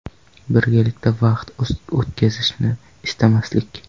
Birgalikda vaqt o‘tkazishni istamaslik .